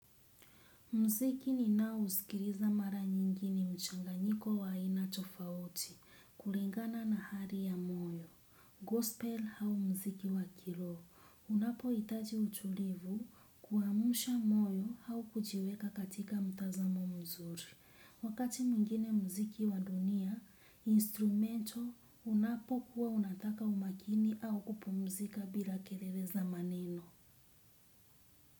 Mziki ninaousikiriza mara nyingini mchanganyiko wa aina tofauti, kulingana na hari ya moyo. Gospel hau mziki wa kiroo. Unapohitaji utulivu kuamsha moyo au kujiweka katika mtazamo mzuri. Wakati mwingine mziki wa dunia, instrumento unapo kuwa unataka umakini au kupumzika bila kerere za maneno.